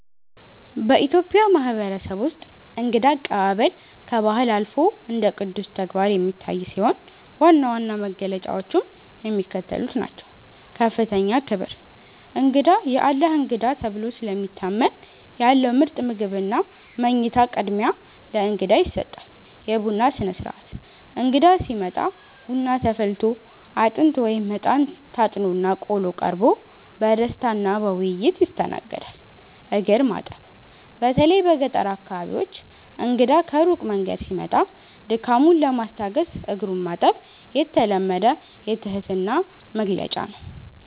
በኢትዮጵያ ማህበረሰብ ውስጥ እንግዳ አቀባበል ከባህል አልፎ እንደ ቅዱስ ተግባር የሚታይ ሲሆን፣ ዋና ዋና መገለጫዎቹም የሚከተሉት ናቸው፦ ከፍተኛ ክብር፦ እንግዳ "የአላህ እንግዳ" ተብሎ ስለሚታመን፣ ያለው ምርጥ ምግብና መኝታ ቅድሚያ ለእንግዳ ይሰጣል። የቡና ሥነ-ሥርዓት፦ እንግዳ ሲመጣ ቡና ተፈልቶ፣ አጥንት (እጣን) ታጥኖና ቆሎ ቀርቦ በደስታና በውይይት ይስተናገዳል። እግር ማጠብ፦ በተለይ በገጠር አካባቢዎች እንግዳ ከሩቅ መንገድ ሲመጣ ድካሙን ለማስታገስ እግሩን ማጠብ የተለመደ የትህትና መግለጫ ነው።